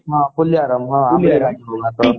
ହଁ ପୁଲିଆରାମ